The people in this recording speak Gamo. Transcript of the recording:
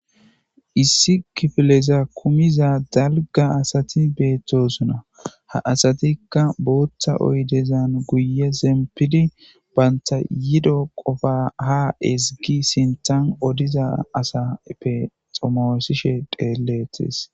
issi kifileza kumiza dalga asati beettosuna ha asatikka booththa oydezan guye zempidi baynta yido qofa ha ezigi sinthan odiza asappe xomoosishe dheeleetes